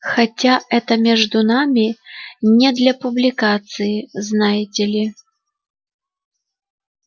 хотя это между нами не для публикации знаете ли